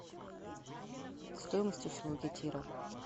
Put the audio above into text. стоимость услуги тира